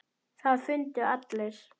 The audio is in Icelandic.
Það fundu allir.